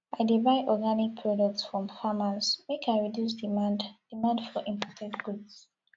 i dey buy organic products from farmers make i reduce demand demand for imported goods